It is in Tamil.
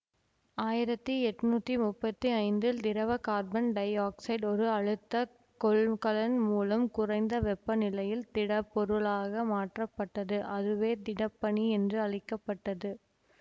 ஆயிரத்தி எட்ணூத்தி முப்பத்தி ஐந்தில் திரவ கார்பன் டை ஆக்சைடு ஒரு அழுத்த கொள்கலன் மூலம் குறைந்த வெப்பநிலையில் திடப்பொருளாக மாற்றப்பட்டதுஅதுவே திடப்பனி என்று அழைக்க பட்டது